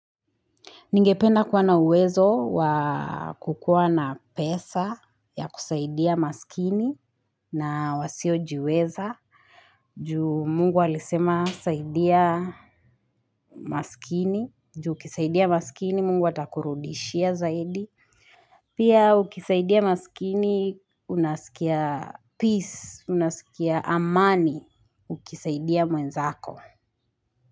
Ningependa kuwa na uwezo wa kukua na pesa ya kusaidia masikini na wasio jiweza. Juu Mungu alisema saidia masikini. Juu ukisaidia masikini Mungu atakurudishia zaidi. Pia ukisaidia masikini unasikia peace, unasikia amani ukisaidia mwenzako.